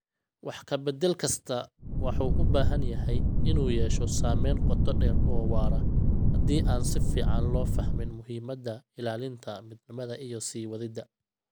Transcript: Wax ka bedel kastaa wuxuu u badan yahay inuu yeesho saameyn qoto dheer oo waara haddii aan si fiican loo fahmin muhiimada ilaalinta midnimada iyo sii wadida.